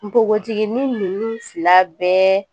Npogotinin ninnu fila bɛɛ